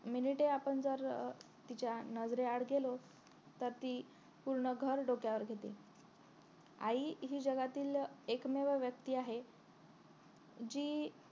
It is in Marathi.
minite आपण जर अं तिच्या नजरे आड गेलो तर ती पूर्ण घर डोक्यावर घेते आई हि जगातील एकमेव व्यक्ती आहे जी